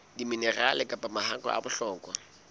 diminerale kapa mahakwe a bohlokwa